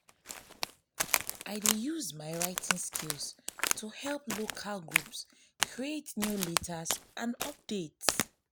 i dey use my writing skills to help local groups create newsletters and updates.